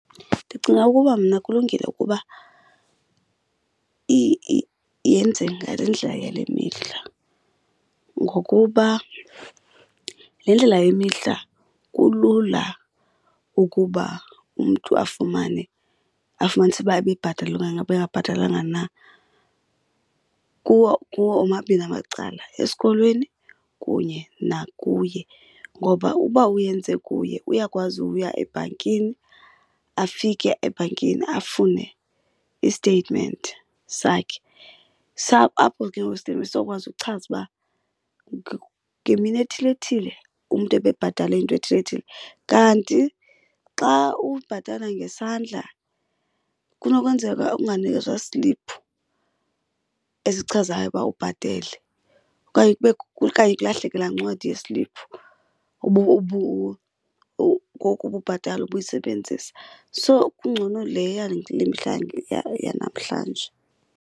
Ndicinga ukuba mna kulungile ukuba yenze ngale ndlela yale mihla ngokuba le ndlela yale mihla kulula ukuba umntu afumane afumanise uba ebebhatele okanye ebengabhatalelanga na kuwo kuwo omabini amacala, esikolweni kunye nakuye. Ngoba uba uyenze kuye uyakwazi ukuya ebhankini afike ebhankini afune isteyitimenti sakhe. Apho ke ngoku isteyitimenti sokwazi uchaza uba ngemini ethile thile umntu ebebhatale into ethile thile. Kanti xa ubhatala ngesandla kunokwenzeka unganikezwa sliphu esichazayo uba ubhatele okanye okanye kulahleke laa ncwadi yesliphu ngoku ububhatala ubuyisebenzisa. So kungcono le yale yanamhlanje.